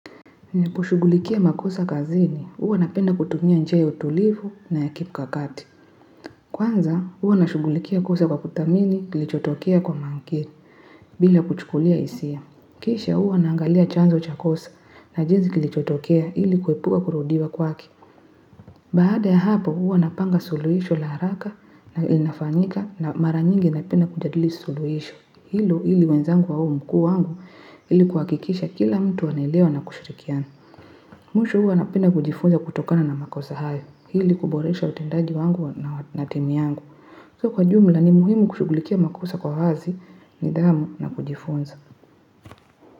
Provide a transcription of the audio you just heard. Kushughulikia makosa kazini huwa napenda kutumia njia ya utulivu na ya kimkakati kwanza, huwa nashugulikia kosa kwa kuthamini kilichotokea kwa manke, bila kuchukulia hisia. Kisha huwa naangalia chanzo cha kosa na jinsi kilichotokea ili kuepuka kurudiwa kwake. Baada ya hapo, huwa napanga suluhisho la haraka na linafanyika na mara nyingi napenda kujadili suluhisho. Hilo ili wenzangu au mkuu wangu ili kuhakikisha kila mtu anaelewa na kushirikiana. Mwisho huwa napenda kujifunza kutokana na makosa hayo, ili kuboresha utendaji wangu na timu yangu. Kwa jumla ni muhimu kushughulikia makosa kwa wazi, nidhamu na kujifunza.